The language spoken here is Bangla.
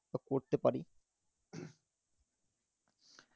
করতে পারি